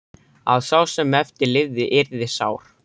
Að sá sem eftir lifði yrði sár.